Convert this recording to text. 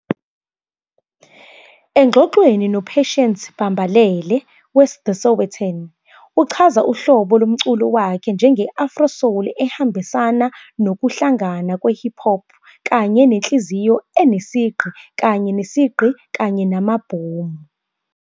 Engxoxweni noPatience Bambalele weThe Sowetan, uchaza uhlobo lomculo wakhe njenge-Afro-soul ehambisana nokuhlangana kwe-hip-hop kanye nenhliziyo enesigqi kanye nesigqi kanye namabhomu.